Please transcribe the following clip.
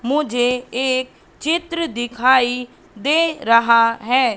मुझे एक चित्र दिखाई दे रहा है।